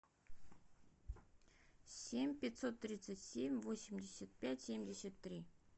семь пятьсот тридцать семь восемьдесят пять семьдесят три